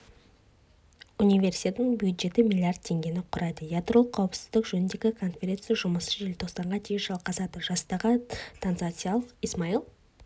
универсиаданың бюджеті млрд теңгені құрайды ядролық қауіпсіздік жөніндегі конференция жұмысы желтоқсанға дейін жалғасады жастағы танзаниялық исмаил